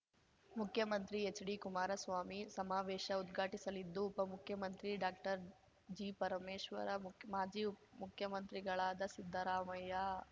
ಮುಖ್ಯಮಂತ್ರಿ ಎಚ್‌ಡಿಕುಮಾರಸ್ವಾಮಿ ಸಮಾವೇಶ ಉದ್ಘಾಟಿಸಲಿದ್ದು ಉಪ ಮುಖ್ಯಮಂತ್ರಿ ಡಾಕ್ಟರ್ಜಿಪರಮೇಶ್ವರ ಮಾಜಿ ಮುಖ್ಯಮಂತ್ರಿಗಳಾದ ಸಿದ್ದರಾಮಯ್ಯ